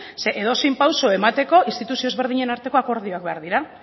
edozein pausu emateko instituzio ezberdinen arteko akordioak behar dira